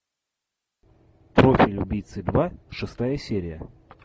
профиль убийцы два шестая серия